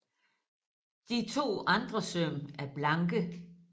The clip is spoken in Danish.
De to andre søm er blanke